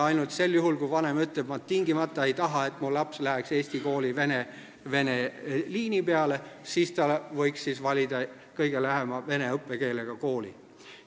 Ainult sel juhul, kui vanem ütleb, et ta ei taha, et tema laps läheks eesti kooli vene liini peale, võiks ta valida kõige lähema vene õppekeelega kooli.